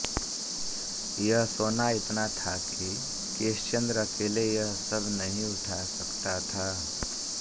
यह सोना इतना था कि केशचंद्र अकेले यह सब नहीं उठा सकता था